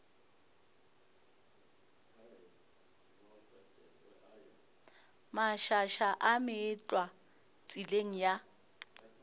mašaša a meetlwa tseleng ya